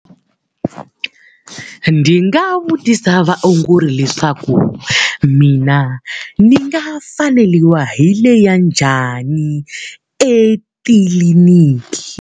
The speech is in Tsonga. Ndzi nga vutisa vaongori leswaku, mina ni nga faneriwa hi leya njhani etitliliniki?